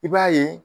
I b'a ye